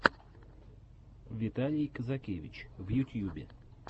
виталий казакевич в ютьюбе